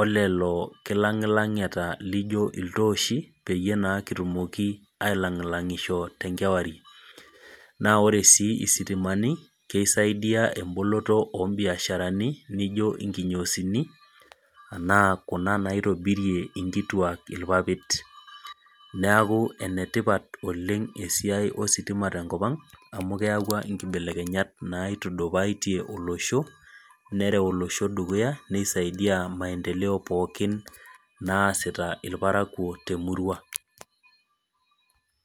olelo kilangilangata laijo iltooshi peyie kitumoki naa ailangilangisho tenkewarie .Naa ore sii sitimani naa kisaidia emboloto ombiasharani naijo nkinyosini enaa kuna naitobirie nkiituak irpapit. Neeku enetipat oleng esiai ositima tenkopang, amu keyau nkibelekenyat naitudupatie olosho ,neretu olosho dukuya ,neisaidia maendeleo pookin naasita irparakuo temurua.